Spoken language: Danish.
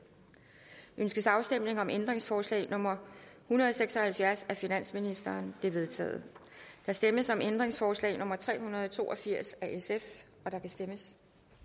ønskes afstemning om ændringsforslag nummer en hundrede og seks og halvfjerds af finansministeren det er vedtaget der stemmes om ændringsforslag nummer tre hundrede og to og firs af sf og der kan stemmes